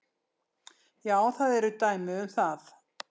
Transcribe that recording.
Já, það eru dæmi um það.